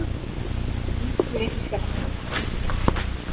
Guðs vin skaðar engin skepna.